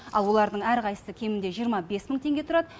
ал олардың әрқайсысы кемінде жиырма бес мың теңге тұрады